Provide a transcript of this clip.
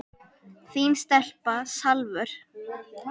Þín stelpa, Salvör.